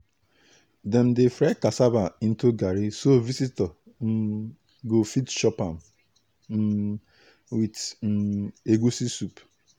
dem dey fry cassava into garri so visitor um go fit chop am um with um egusi soup.